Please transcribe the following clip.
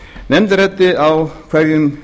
nefndin ræddi á hverjum